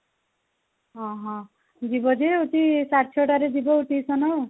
ହଁ, ହଁ ଯିବ ଯେ ହଉଛି ସାଢେ ଛ ଟା ରେ ଯିବ ଆଉ tution